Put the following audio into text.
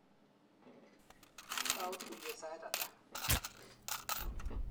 Tau tuyet sait ata?